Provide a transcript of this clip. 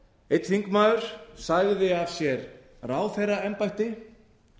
einn þingmaður sagði af sér ráðherraembætti